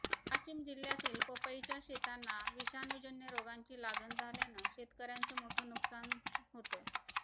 वाशिम जिल्ह्यातील पपईच्या शेतांना विषाणूजन्य रोगांची लागण झाल्यानं शेतकऱ्यांचं मोठं नुकसान होतं